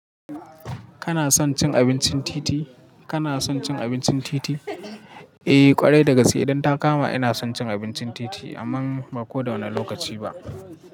Kana son cin abincin titi? Kana son cin abincin titi? Eh kwarai da gaske idan ta kama ina son cin abincin titi amman ba ko da wane lokaci ba.